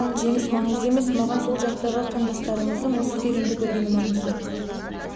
жеңіс күтпеймін өйткені маған жеңіс маңызды емес маған сол жақтағы қандастарымыздың осы фильмді көргені маңызды